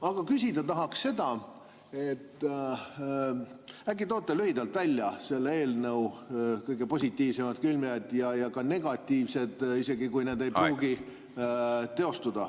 Aga küsida tahaks seda, et äkki te toote lühidalt välja selle eelnõu kõige positiivsemad küljed ja ka negatiivsed, isegi kui need ei pruugi teostuda.